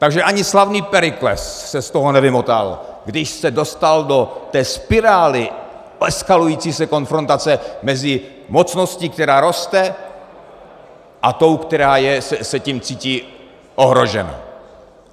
Takže ani slavný Perikles se z toho nevymotal, když se dostal do té spirály eskalující se konfrontace mezi mocností, která roste, a tou, která se tím cítí ohrožena.